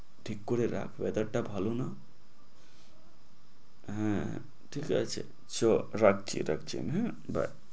ঠিক করে রাখ, weather টা ভালো না। হ্যাঁ ঠিক আছে তো রাখছি রাখছি bye